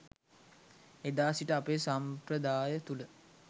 එදා සිට අපේ සම්ප්‍රදාය තුළ